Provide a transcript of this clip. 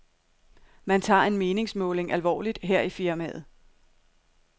Man tager en meningsmåling alvorligt her i firmaet.